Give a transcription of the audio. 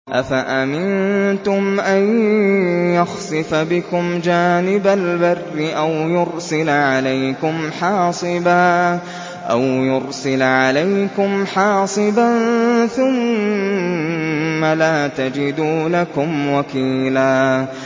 أَفَأَمِنتُمْ أَن يَخْسِفَ بِكُمْ جَانِبَ الْبَرِّ أَوْ يُرْسِلَ عَلَيْكُمْ حَاصِبًا ثُمَّ لَا تَجِدُوا لَكُمْ وَكِيلًا